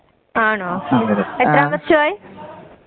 ആണോ? എത്രം വർഷമായി.